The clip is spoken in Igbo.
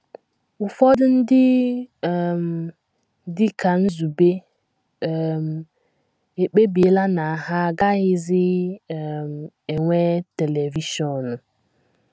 Ụfọdụ ndị, um dị ka Nzube, um ekpebiela na ha agaghịzi um enwe televishọn.